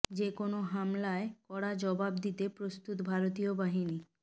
যে কোনও হামলায় কড়া জবাব দিতে প্রস্তুত ভারতীয় বাহিনী